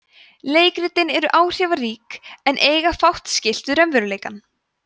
leikritin eru áhrifarík en eiga fátt skylt við raunveruleikann